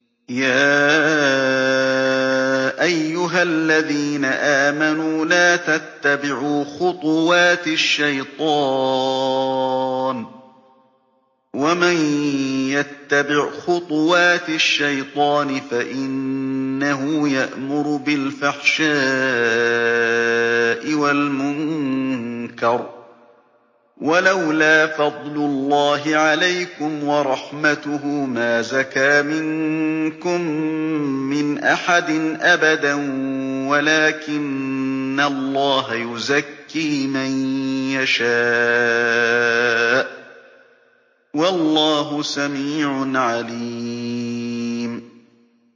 ۞ يَا أَيُّهَا الَّذِينَ آمَنُوا لَا تَتَّبِعُوا خُطُوَاتِ الشَّيْطَانِ ۚ وَمَن يَتَّبِعْ خُطُوَاتِ الشَّيْطَانِ فَإِنَّهُ يَأْمُرُ بِالْفَحْشَاءِ وَالْمُنكَرِ ۚ وَلَوْلَا فَضْلُ اللَّهِ عَلَيْكُمْ وَرَحْمَتُهُ مَا زَكَىٰ مِنكُم مِّنْ أَحَدٍ أَبَدًا وَلَٰكِنَّ اللَّهَ يُزَكِّي مَن يَشَاءُ ۗ وَاللَّهُ سَمِيعٌ عَلِيمٌ